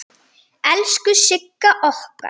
Elsku Sigga okkar!